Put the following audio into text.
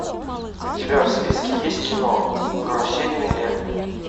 у тебя в списке есть кино карусельный лев